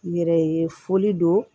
Yɛrɛ ye foli don